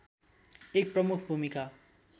एक प्रमुख भूमिका